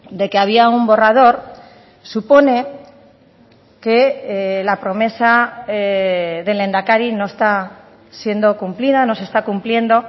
de que había un borrador supone que la promesa del lehendakari no está siendo cumplida no se está cumpliendo